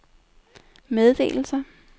meddelelser